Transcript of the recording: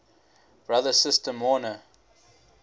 brother sister mourner